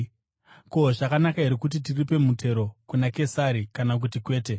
Ko, zvakanaka here kuti tiripe mutero kuna Kesari kana kuti kwete?”